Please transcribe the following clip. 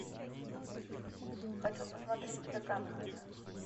хочу посмотреть тдк на тв